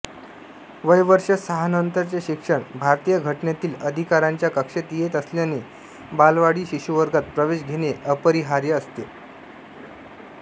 वयवर्षे सहानंतरचे शिक्षण भारतीय घटनेतील आधीकारा्च्या कक्षेत येत असल्याने बालवाडीशिशुवर्गात प्रवेश घेणे अपरिहार्य असते